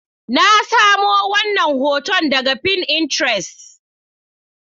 Na samo wannan hoton daga Pinterest.